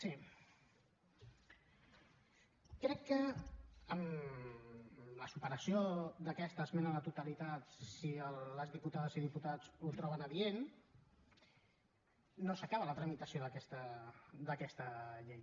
sí crec que amb la superació d’aquesta esmena a la totalitat si les diputades i diputats ho troben adient no s’acaba la tramitació d’aquesta llei